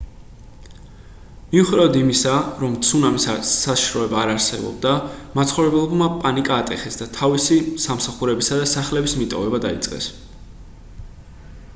მიუხედავად იმისა რომ ცუნამის საშიშროება არ არსებობდა მაცხოვრებლებმა პანიკა ატეხეს და თავისი სამსახურებისა და სახლების მიტოვება დაიწყეს